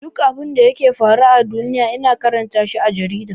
Duk abinda yake faruwa a duniya ina karanta shi a jarida.